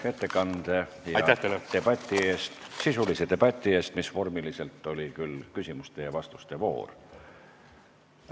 Suur aitäh ettekande ja debati eest – sisulise debati eest, mis vormiliselt oli küll küsimuste ja vastuste voor!